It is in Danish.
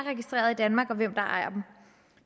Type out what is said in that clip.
registreret i danmark og hvem der ejer dem